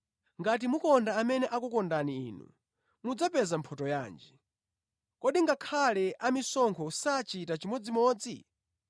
Ngati mukonda amene akukondani inu, mudzapeza mphotho yanji? Kodi ngakhale amisonkho sachita chimodzimodzi?